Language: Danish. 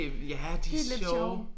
Det ja de sjove